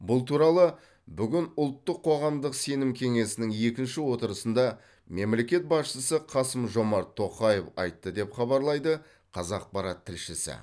бұл туралы бүгін ұлттық қоғамдық сенім кеңесінің екінші отырысында мемлекет басшысы қасым жомарт тоқаев айтты деп хабарлайды қазақпарат тілшісі